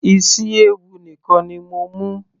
isi ewu nìkan ni mo mú